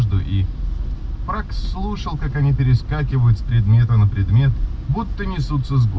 слушалка не перескакивал с предмета на предмет